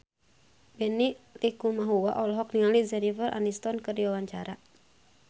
Benny Likumahua olohok ningali Jennifer Aniston keur diwawancara